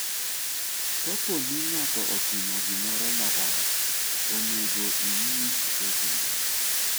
Ka po ni ng'ato otimo gimoro marach, onego inyis obila.